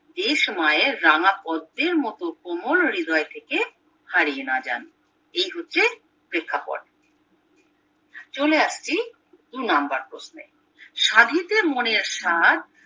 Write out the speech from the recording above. দেশ মায়ের রাঙ্গাপদ্মের মতো কোমল হৃদয় থেকে হারিয়ে না যান এই হচ্ছে প্রেক্ষাপট চলে আসছি দুই নম্বর প্রশ্নে সাধিতে মনের সাধ